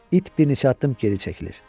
İt bir neçə addım geri çəkilir.